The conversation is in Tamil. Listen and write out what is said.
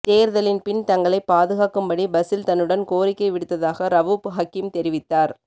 தேர்தலின் பின் தங்களை பாதுக்கக்கும்படி பசில் தன்னுடன் கோரிக்கை விடுத்ததாக ரவூப் ஹக்கீம் தெரிவித்தார்